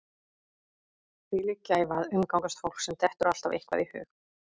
Þvílík gæfa að umgangast fólk sem dettur alltaf eitthvað í hug.